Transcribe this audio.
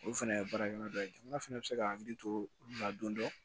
Olu fɛnɛ ye baarakɛla dɔ ye jamana fana bɛ se ka hakili to olu la don dɔ